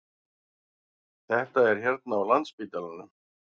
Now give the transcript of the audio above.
Þetta er hérna á Landspítalanum.